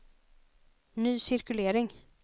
ny cirkulering